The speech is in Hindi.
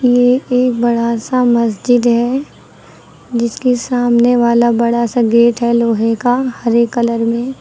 ये एक बड़ा सा मस्जिद है जिसके सामने वाला बड़ा सा गेट है लोहे का हरे कलर में।